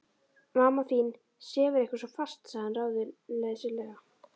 Mamma þín sefur eitthvað svo fast sagði hann ráðleysislega.